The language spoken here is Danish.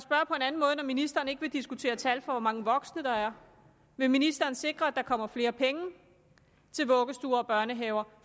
ministeren ikke vil diskutere tal for hvor mange voksne der er vil ministeren så sikre at der kommer flere penge til vuggestuer og børnehaver